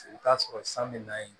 I bɛ t'a sɔrɔ san bɛ na yen